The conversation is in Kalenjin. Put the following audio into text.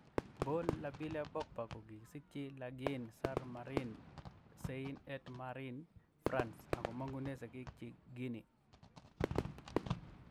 Paul Labile Pogba kokikisikyi Lagny-sur-Marne, Seine-et-Marne France, ako mangune sigik chik Guinea.